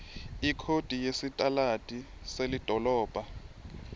ikhodi yesitaladi selidolobha